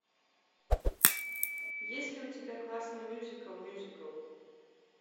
есть ли у тебя классный мюзикл мюзикл